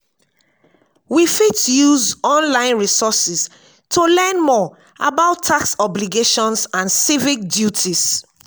we fit use online resources to learn more about tax obligations and civic duties.